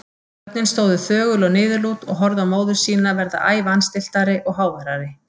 Börnin stóðu þögul og niðurlút og horfðu á móður sína verða æ vanstilltari og háværari.